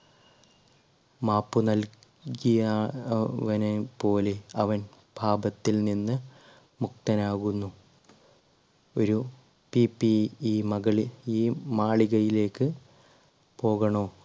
മാപ്പ് നൽകിയവനെ പോലെ അവൻ പാപത്തിൽ നിന്ന് മുക്തനാകുന്നു ഒരു ഈ മകളിൽ ഈ മാളികയിലേക്ക് പോകണോ?